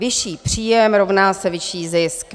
Vyšší příjem rovná se vyšší zisk.